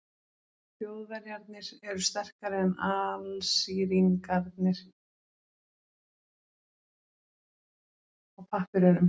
Þjóðverjarnir eru sterkari en Alsíringarnir á pappírunum.